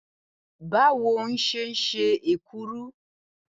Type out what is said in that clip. Báwo wó̩n s̩e ń s̩e èkuru?